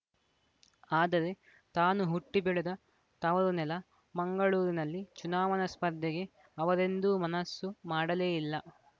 ಆದರೆ ತಾನು ಹುಟ್ಟಿಬೆಳೆದ ತವರುನೆಲ ಮಂಗಳೂರಿನಲ್ಲಿ ಚುನಾವಣಾ ಸ್ಪರ್ಧೆಗೆ ಅವರೆಂದೂ ಮನಸ್ಸು ಮಾಡಲೇ ಇಲ್ಲ